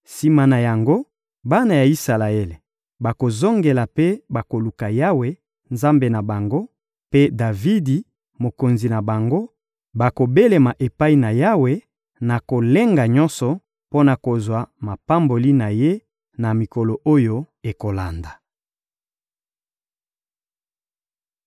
Sima na yango, bana ya Isalaele bakozongela mpe bakoluka Yawe, Nzambe na bango, mpe Davidi, mokonzi na bango; bakobelema epai na Yawe, na kolenga nyonso, mpo na kozwa mapamboli na Ye, na mikolo oyo ekolanda.